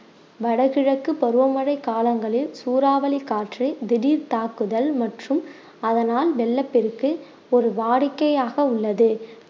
வடகிழக்கு பருவமழை காலங்களில் சூறாவளி காற்று திடீர் தாக்குதல் மற்றும் அதனால் வெள்ளப்பெருக்கு ஒரு வாடிக்கையாக உள்ளது